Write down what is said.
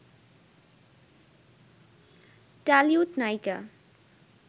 Tollywood নায়িকা